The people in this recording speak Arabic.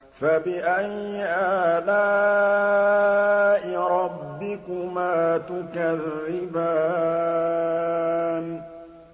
فَبِأَيِّ آلَاءِ رَبِّكُمَا تُكَذِّبَانِ